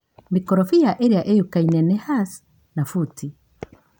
Mĩkorofia ĩrĩa ĩyokaine nĩ hasi na Futĩ.